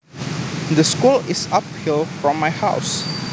The school is uphill from my house